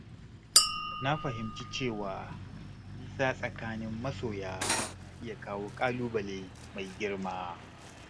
Na fahimci cewa nisa tsakanin masoya na iya kawo ƙalubale mai girma.